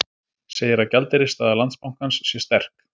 Segir að gjaldeyrisstaða Landsbankans sé sterk